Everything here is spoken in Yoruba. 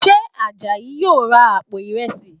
Ṣe Àjàyí yóò ra àpò ìrẹsì?